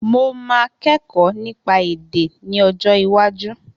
Mo máa kẹ́kọ̀ọ́ nípa èdè ní ọjọ́ iwájú